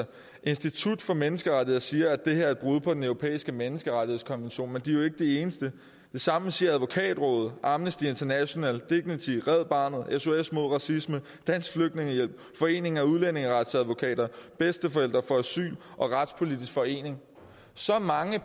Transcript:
institut for menneskerettigheder siger at det her er et brud på den europæiske menneskerettighedskonvention men de jo ikke de eneste det samme siger advokatrådet amnesty international dignity red barnet sos mod racisme dansk flygtningehjælp foreningen af udlændingeretsadvokater bedsteforældre for asyl og retspolitisk forening så mange